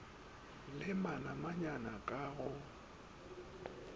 le manamanyana k a go